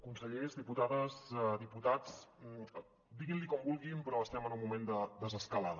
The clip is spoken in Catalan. consellers diputades diputats diguin li com vulguin però estem en un moment de desescalada